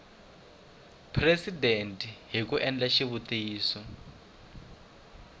presidente hi ku endla xitiviso